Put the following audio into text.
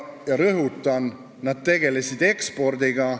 Ja rõhutan: nad tegelesid ekspordiga.